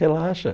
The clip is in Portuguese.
Relaxa.